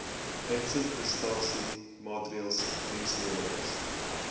uitsetprestasie maatreëls dienslewerings